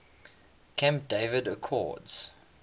camp david accords